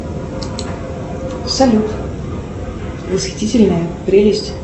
салют восхитительная прелесть